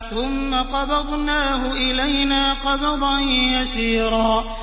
ثُمَّ قَبَضْنَاهُ إِلَيْنَا قَبْضًا يَسِيرًا